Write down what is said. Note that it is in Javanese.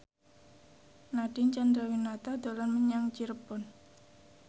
Nadine Chandrawinata dolan menyang Cirebon